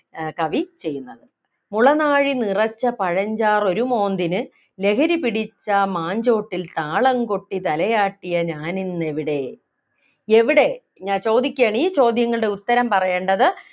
ആഹ് കവി ചെയ്യുന്നത് മുളനാഴി നിറച്ച പഴഞ്ചാറൊരു മോന്തിനു ലഹരി പിടിച്ചാ മാഞ്ചോട്ടിൽ താളം കൊട്ടി തലയാട്ടിയ ഞാനിന്നെവിടെ എവിടെ ഞ ചോദിക്കുകയാണ് ഈ ചോദ്യങ്ങളുടെ ഉത്തരം പറയേണ്ടത്